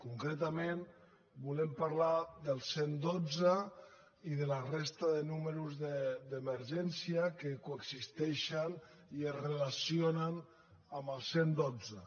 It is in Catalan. concretament volem parlar del cent i dotze i de la resta de números d’emergència que coexisteixen i es relacionen amb el cent i dotze